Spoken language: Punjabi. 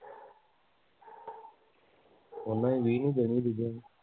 ਉਹਨੇ ਵੀ ਵੀਹ ਨੂੰ ਦੇਣੀ ਐ ਦੂਜੇ ਨੇ